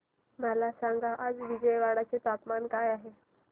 मला सांगा आज विजयवाडा चे तापमान काय आहे